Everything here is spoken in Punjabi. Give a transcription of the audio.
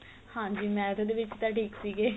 ਹਾਂਜੀ math ਦੇ ਵਿੱਚ ਤਾਂ ਠੀਕ ਸੀਗੇ